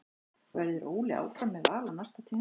Verður Óli áfram með Val á næsta tímabili?